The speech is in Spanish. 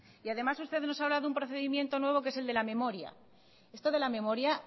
y además usted nos habla de un procedimiento nuevo que es el de la memoria esto de la memoria